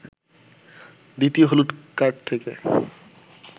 দ্বিতীয় হলুদ কার্ড থেকে